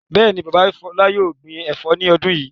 Bẹ́ẹ̀ ni, bàbá Fọlá yóò gbin ẹ̀fọ́ ní ọdún yìí.